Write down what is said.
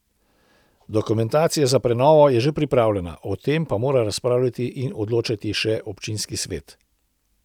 Dokumentacija za prenovo je že pripravljena, o tem pa mora razpravljati in odločati še občinski svet.